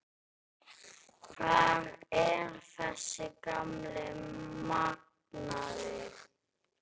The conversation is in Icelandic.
Hvar er þessi gamli magnaði?